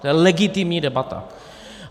To je legitimní debata.